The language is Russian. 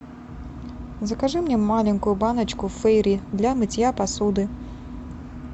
закажи мне маленькую баночку фейри для мытья посуды